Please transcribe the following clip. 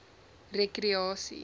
rekreasie